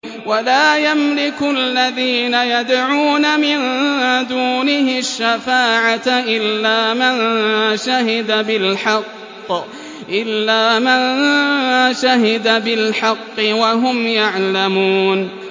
وَلَا يَمْلِكُ الَّذِينَ يَدْعُونَ مِن دُونِهِ الشَّفَاعَةَ إِلَّا مَن شَهِدَ بِالْحَقِّ وَهُمْ يَعْلَمُونَ